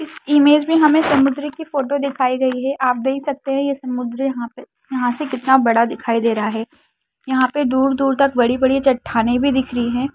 इस इमेज में हमें समुद्र की फोटो दिखाई दे रही है आप देख सकते हैं ये समुद्र यहाँ पे यहाँ से कितना बड़ा दिखाई दे रहा है यहाँ पे दूर-दूर तक बड़ी-बड़ी चट्टानें भी दिख रही है।